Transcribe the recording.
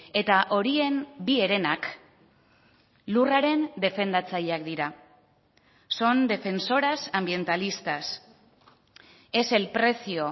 eta horien bi herenak lurraren defendatzaileak dira son defensoras ambientalistas es el precio